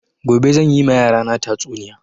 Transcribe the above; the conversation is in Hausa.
Gobe zan yi ma yara na tatsuniya